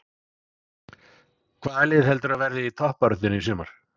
Hvaða lið heldurðu að verði í toppbaráttunni í sumar?